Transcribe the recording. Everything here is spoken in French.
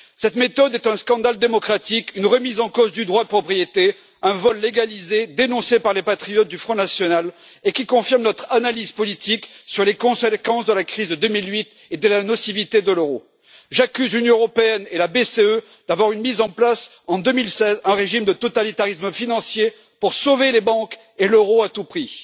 Cette méthode est un scandale démocratique, une remise en cause du droit de propriété et un vol légalisé, dénoncé par les patriotes du Front national, qui confirme notre analyse politique sur les conséquences de la crise de 2008 et de la nocivité de l'euro. J'accuse l'Union européenne et la BCE d'avoir mis en place en 2016 un régime de totalitarisme financier pour sauver les banques et l'euro à tout prix.